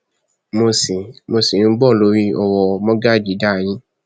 mo ṣì mo ṣì ń bọ lórí ọrọ mọgàjíǹdà yìí